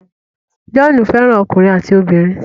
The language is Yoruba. John fẹ́ràn ọkùnrin àti obìnrin.